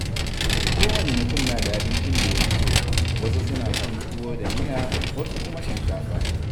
Kowane mutum na da abincin da yafi so, wasu suna son tuwo da miya, wasu kuma shinkafa.